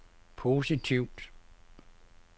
positivt